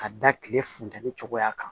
Ka da kile funtɛni cogoya kan